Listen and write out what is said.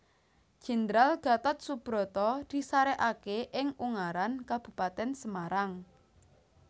Jenderal Gatot Soebroto disarekake ing Ungaran Kabupatèn Semarang